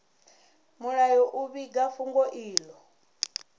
mulayo u vhiga fhungo ilo